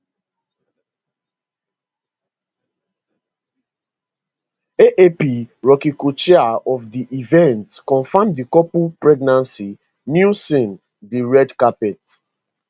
aap rocky cochair of di event confam di couple pregnancy newson di red carpet